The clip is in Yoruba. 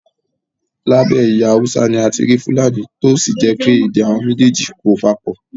Lábẹ́ ẹ̀yà Haúsá ni a ti rí fúlàní tí ó sì jẹ́ pé èdè àwọn méjèèjì yìí kò papọ̀